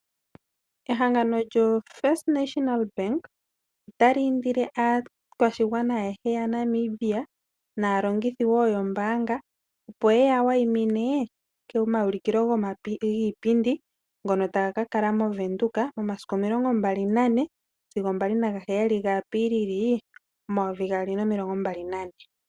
Ehangano lyoFirst National Bank otali indile aakwashigwana ayehe yaNamibia naalongithi woo yombaanga opo yeya wayimine komaulikilo giipindi ngono taga kakala mOvenduka momasiku o24 sigo 27 gaApilili 2024.